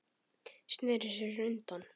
Sneri sér undan.